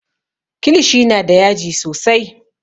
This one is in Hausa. Kilishi na da yaji sosai